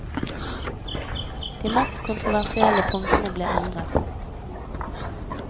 De mest kontroversielle punktene ble endret.